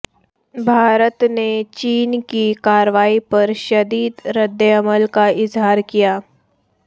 بھارت نے چین کی کارروائی پر شدید ردعمل کا اظہار کیا